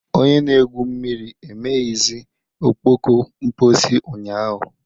Onye na-egwu mmiri emeghịzi ọkpọkọ mposi ụnyaahụ